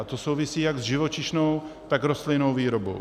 A to souvisí jak s živočišnou, tak rostlinnou výrobou.